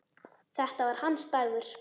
Þetta var hans dagur.